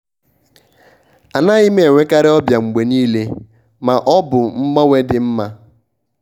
anaghị m enwekarị ọbịa mgbe niile ma ọ bụ mgbanwe dị mma.